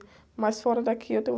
Mas fora daqui, eu tenho